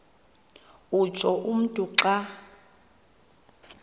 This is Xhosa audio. utsho umntu xa